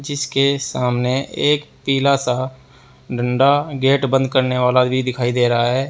जिसके सामने एक पीला सा डंडा गेट बंद करने वाला भी दिखाई दे रहा है।